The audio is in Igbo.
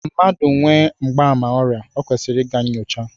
Mmadụ nwee mgbaàmà ọrịa, o kwesịrị ịga nnyocha